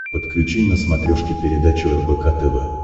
подключи на смотрешке передачу рбк тв